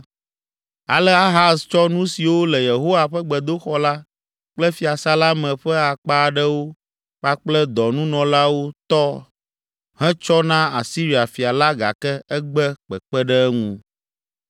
Ale, Ahaz tsɔ nu siwo le Yehowa ƒe gbedoxɔ la kple fiasã la me ƒe akpa aɖewo kpakple dɔnunɔlawo tɔ hetsɔ na Asiria fia la gake egbe kpekpe ɖe eŋu.